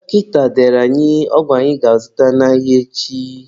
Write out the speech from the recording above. Dọkịta dere anyị ọgwụ anyị ga-azụta n'ahịa echi.